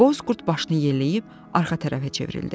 Boz qurd başını yelləyib arxa tərəfə çevrildi.